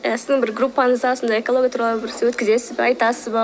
сіздің бір группаңызға осындай экология туралы өткізесіз бе айтасыз ба